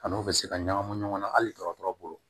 A n'o bɛ se ka ɲagamu ɲɔgɔn na hali dɔgɔtɔrɔ bolo